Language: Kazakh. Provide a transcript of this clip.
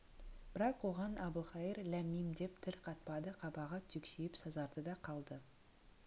бірақ оған әбілқайыр ләм-мим деп тіл қатпады қабағы түксиіп сазарды да қалды